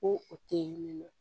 Ko o te nin ye nɔ